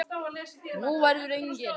Nú verður engin.